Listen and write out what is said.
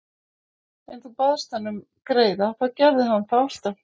Ef þú baðst hann um greiða þá gerði hann það alltaf.